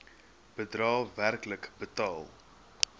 bedrae werklik betaal